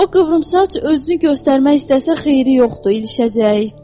O qıvrımsaç özünü göstərmək istəsə xeyri yoxdur, ilişəcək.